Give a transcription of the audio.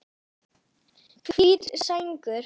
Hvít sængur